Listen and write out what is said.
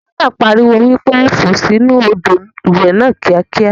Bàbá náà pariwo wípé "fò sì inú Odò ìwẹ̀ ni kíákíá"!!